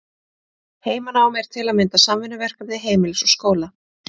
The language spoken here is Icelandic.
Heimanám er til að mynda samvinnuverkefni heimilis og skóla.